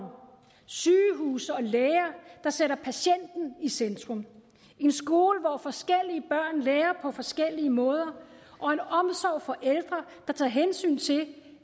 sygehuse og læger der sætter patienten i centrum en skole hvor forskellige børn lærer på forskellige måder og en omsorg for ældre der tager hensyn til